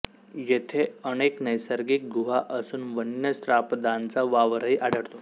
येथे अनेक नैसर्गिक गुहा असून वन्य श्वापदांचा वावरही आढळतो